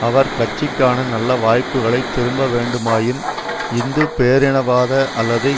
அவர் கட்சிக்கான நல்ல வாய்ப்புகளை திரும்ப வேண்டுமாயின் இந்து பேரினவாத அல்லது